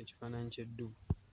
ekifaananyi ky'eddubu.